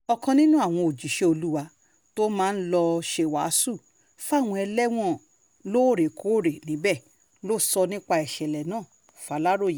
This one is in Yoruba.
ọ̀kan nínú àwọn òjíṣẹ́ olúwa tó máa ń lọ́ọ́ ṣèwàásù fáwọn ẹlẹ́wọ̀n lóòrèkóòrè níbẹ̀ ló sọ nípa ìṣẹ̀lẹ̀ náà fàlàròyé